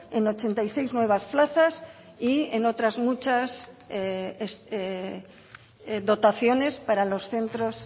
en ochenta y seis nuevas plazas y en otras muchas dotaciones para los centros